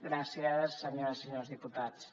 gràcies senyores i senyors diputats